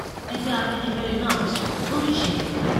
ẹgbẹ afẹnifẹre náà ti sọrọ lórí ìṣẹlẹ yìí